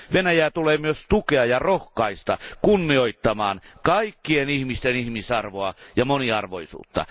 Venäjää tulee myös tukea ja rohkaista kunnioittamaan kaikkien ihmisten ihmisarvoa ja moniarvoisuutta.